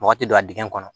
Mɔgɔ tɛ don a dingɛ kɔnɔ